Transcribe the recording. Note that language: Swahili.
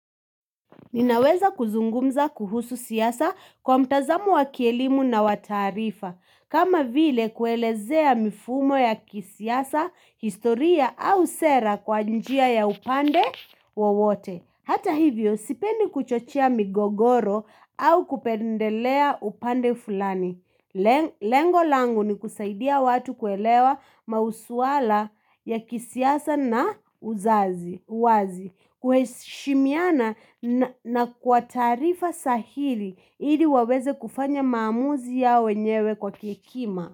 Ninaweza kuzungumza kuhusu siasa kwa mtazamo wa kielimu na wa taarifa, kama vile kuelezea mifumo ya kisiasa, historia au sera kwa njia ya upande wowote. Hata hivyo, sipendi kuchochia migogoro au kupendelea upande fulani. Lengo langu ni kusaidia watu kuelewa masuala ya kisiasa na uzazi uwazi kuheshimiana na kwa taarifa sahili ili waweze kufanya maamuzi yao wenyewe kwa kihekima.